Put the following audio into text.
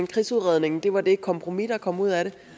krigsudredningen var det kompromis der kom ud af det